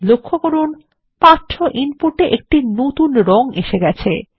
লক্ষ্য করুন পাঠ্য ইনপুট এ একটি নতুন রং এসে গেছে